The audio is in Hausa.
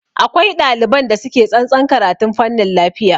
Akwai ɗaliban da suke tsantsan karatun fanin lafiya